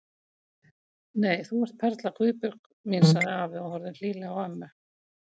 Nei, þú ert perla Guðbjörg mín sagði afi og horfði hlýlega á ömmu.